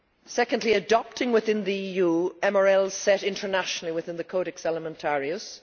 secondly, adopting within the EU MRLs set internationally within the Codex Alimentarius